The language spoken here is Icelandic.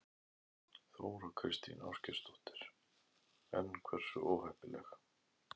Þóra Kristín Ásgeirsdóttir: En hversu óheppileg?